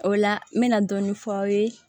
O la n bɛna dɔɔnin f'aw ye